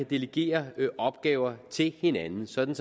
delegere opgaver til hinanden sådan